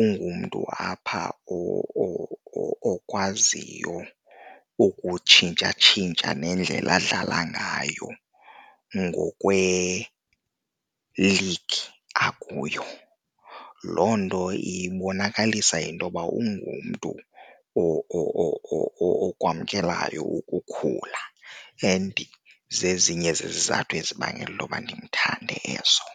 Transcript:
ungumntu apha okwaziyo ukutshintsha tshintsha nendlela adlala ngayo ngokweligi akuyo. Loo nto ibonakalisa intoba ungumntu okwamkelwayo ukukhula and zezinye zezizathu ezibangela intoba ndimthande ezo.